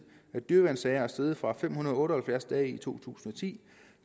af dyreværnssager er steget fra fem hundrede og otte og halvfjerds dage i to tusind og ti